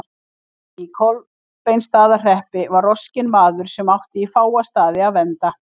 Í Kolbeinsstaðahreppi var roskinn maður sem átti í fáa staði að venda.